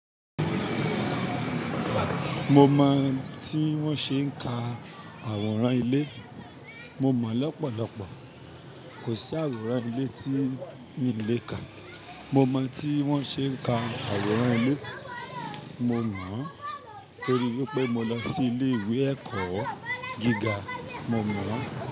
Mo mọ̀ tí wọ́n ṣe ń ka àwòrán ilé. Mo mọ̀ lọ́pọ̀lọpọ̀. Kò sí àwòrán ilé tí mi lè kà. Mo mọ̀ tí wọ́n ṣe ń ka àwòrán ilé. Mo mọ̀ torí pé mo lọ sí ilé ìwé ẹ̀kọ́ gíga. Mo mọ̀